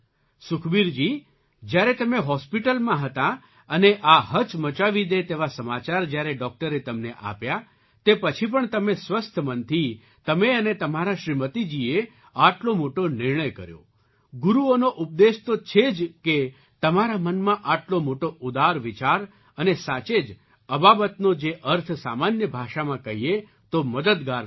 સુખબીરજી જ્યારે તમે હૉસ્પિટલાં હતાં અને આ હચમચાવી દે તેવા સમાચાર જ્યારે ડૉક્ટરે તમને આપ્યા તે પછી પણ તમે સ્વસ્થ મનથી તમે અને તમારાં શ્રીમતીજીએ આટલો મોટો નિર્ણય કર્યો ગુરુઓનો ઉપદેશ તો છે જ કે તમારા મનમાં આટલો મોટો ઉદાર વિચાર અને સાચે જ અબાબતનો જે અર્થ સામાન્ય ભાષામાં કહીએ તો મદદગાર થાય છે